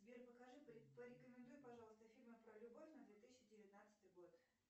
сбер покажи порекомендуй пожалуйста фильмы про любовь на две тысячи девятнадцатый год